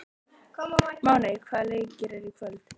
Máney, hvaða leikir eru í kvöld?